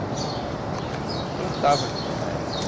A gente plantava assim, na época.